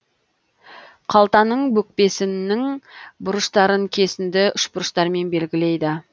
қалтаның бүкпесіннің бұрыштарын кесінді үшбұрыштармен белгілейді